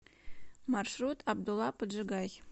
маршрут абдула поджигай